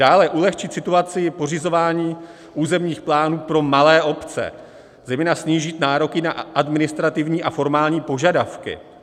Dále - ulehčit situaci pořizování územních plánů pro malé obce, zejména snížit nároky na administrativní a formální požadavky.